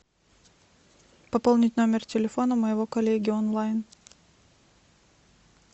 пополнить номер телефона моего коллеги онлайн